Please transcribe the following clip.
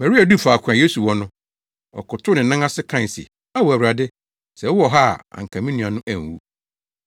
Maria duu faako a Yesu wɔ no, ɔkotow ne nan ase kae se, “Ao Awurade, sɛ wowɔ ha a anka me nua no anwu.”